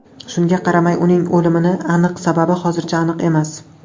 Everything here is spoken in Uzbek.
Shunga qaramay uning o‘limni aniq sababi hozircha aniq emas.